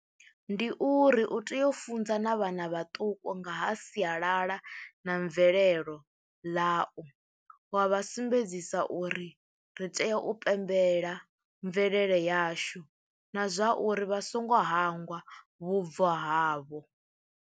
Ndi uri u tea u funza na vhana vhaṱuku nga ha sialala na mvelelo ḽau wa vha sumbedzisa uri ri tea u pembela mvelele yashu na zwa uri vha songo hangwa vhubvo havho.